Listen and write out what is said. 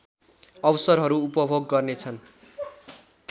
अवसरहरू उपभोग गर्नेछन्